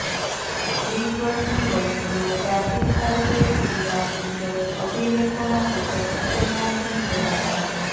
વીસ વર્ષની વયે તેઓ પ્રાચીન ભારતીય ઇતિહાસ વિષયક અભિલેખોના કુશળ ઉકેલનાર બની ગયા હતા